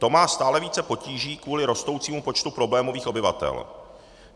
To má stále více potíží kvůli rostoucímu počtu problémových obyvatel.